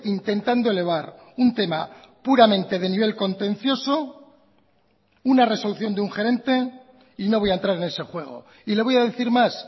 intentando elevar un tema puramente de nivel contencioso una resolución de un gerente y no voy a entrar en ese juego y le voy a decir más